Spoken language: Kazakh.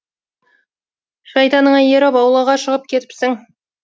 шайтаныңа еріп аулаға шығып кетіпсің